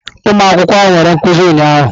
Ụmụ akwụkwọ ahụ nwere nkuzi ụnyahụ.